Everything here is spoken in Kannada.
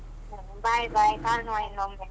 ಹ್ಮ bye bye ಕಾಣುವ ಇನ್ನೊಮ್ಮೆ.